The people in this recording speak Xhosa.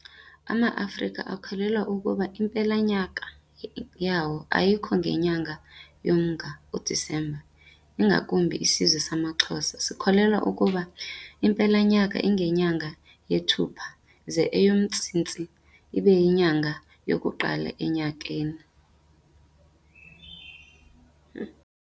Ama Afrika akholelwa ukuba impela nyaka yawo ayikho ngenyanga yoMnga, u December, ingakumbi isizwe samaXhosa sikholelwa ukuba impela nyaka ingenyanga yeThupha ze eyoMsintsi ibe yinyanga yokuqala enyakeni.